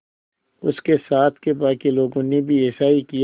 उसके साथ के बाकी लोगों ने भी ऐसा ही किया